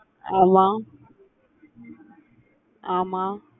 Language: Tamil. ஆமா ஆமா